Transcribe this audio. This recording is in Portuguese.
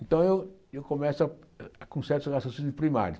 Então, eu eu começo ah com certos raciocínios primários.